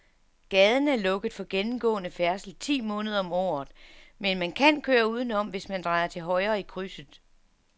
Gaden er lukket for gennemgående færdsel ti måneder om året, men man kan køre udenom, hvis man drejer til højre i krydset.